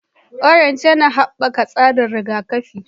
Orange yana haɓaka tsarin rigakafi